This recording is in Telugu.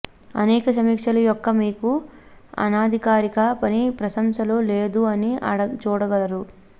అనేక సమీక్షలు యొక్క మీకు అనధికారిక పని ప్రశంసలు లేదు అని చూడగలరు